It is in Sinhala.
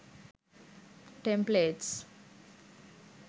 templates